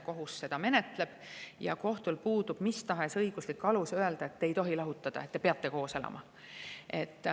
Kohus seda menetleb, kohtud otsustavad selle üle ja kohtul puudub mis tahes õiguslik alus öelda, et te ei tohi lahutada, te peate koos elama.